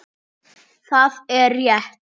Það er rétt.